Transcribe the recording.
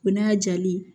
O n'a jali